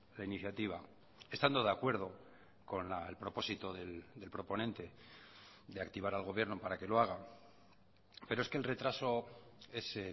la iniciativa estando de acuerdo con el propósito del proponente de activar al gobierno para que lo haga pero es que el retraso es